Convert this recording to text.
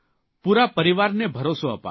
પૂરા પરિવારને ભરોસો અપાવ્યો